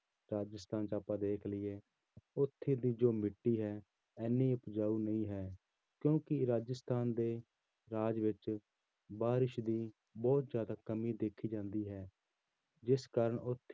ਰਾਜਸਥਾਨ ਚ ਆਪਾਂ ਵੇਖ ਲਈਏ ਉੱਥੇ ਦੀ ਜੋ ਮਿੱਟੀ ਹੈ, ਇੰਨੀ ਉਪਜਾਊ ਨਹੀਂ ਹੈ ਕਿਉਂਕਿ ਰਾਜਸਥਾਨ ਦੇ ਰਾਜ ਵਿੱਚ ਬਾਰਿਸ਼ ਦੀ ਬਹੁਤ ਜ਼ਿਆਦਾ ਕਮੀ ਦੇਖੀ ਜਾਂਦੀ ਹੈ, ਜਿਸ ਕਾਰਨ ਉੱਥੇ